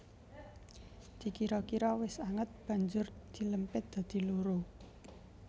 Dikira kira wis anget banjur dilempit dadi loro